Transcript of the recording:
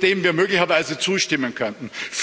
dem wir möglicherweise zustimmen könnten!